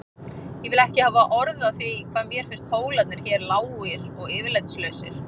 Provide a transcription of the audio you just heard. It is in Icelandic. Ég vil ekki hafa orð á því hvað mér finnst hólarnir hér lágir og yfirlætislausir.